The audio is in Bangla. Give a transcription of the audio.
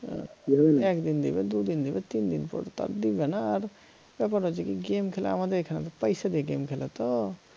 আহ একদিন দিবে দুদিন দিবে তিনদিন পর তো আর দিবে না আর আমার হয়েছে কি game খেলা আমাদের এইখারে পয়সা দিয়ে game খেলে তো